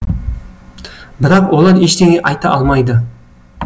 бірақ олар ештеңе айта алмайды